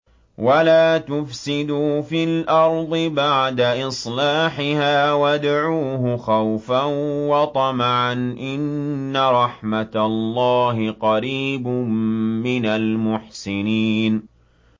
وَلَا تُفْسِدُوا فِي الْأَرْضِ بَعْدَ إِصْلَاحِهَا وَادْعُوهُ خَوْفًا وَطَمَعًا ۚ إِنَّ رَحْمَتَ اللَّهِ قَرِيبٌ مِّنَ الْمُحْسِنِينَ